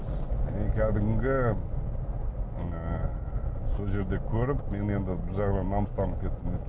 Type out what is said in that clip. и кәдімгі ыыы сол жерде көріп мен енді бір жағынан намыстанып кеттім